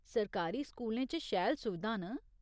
सरकारी स्कूलें च शैल सुविधां न।